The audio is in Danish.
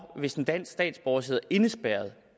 hvis en dansk statsborger sidder indespærret